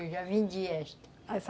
Eu já vendi esta.